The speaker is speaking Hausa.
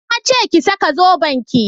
Na ce ki saka zoben ki!